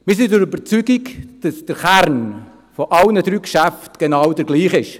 – Wir sind der Überzeugung, dass der Kern von allen drei Geschäften genau derselbe ist.